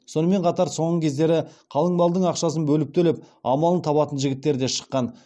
сонымен қатар соңғы кездері қалың малдың ақшасын бөліп төлеп амалын табатын жігіттер де шыққан